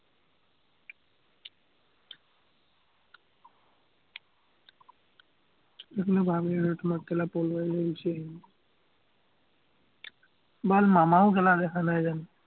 সেইকাৰণে ভাৱি আছো, তোমাক পলুৱাই লৈ গুছি আহিম। মামাও দেখা নাই জানো।